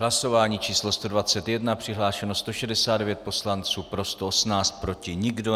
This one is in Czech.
Hlasování číslo 121, přihlášeno 169 poslanců, pro 118, proti nikdo.